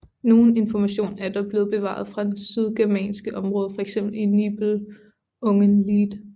Nogen information er der dog blevet bevaret fra det sydgermanske område fx i Nibelungenlied